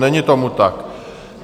Není tomu tak.